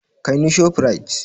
Kai ni Shoprite!